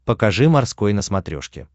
покажи морской на смотрешке